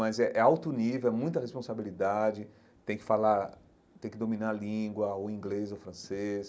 Mas é é alto nível, é muita responsabilidade, tem que falar, tem que dominar a língua, ou inglês ou francês.